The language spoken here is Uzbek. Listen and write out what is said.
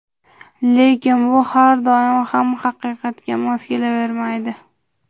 Lekin bu har doim ham haqiqatga mos kelavermaydi.